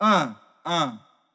а а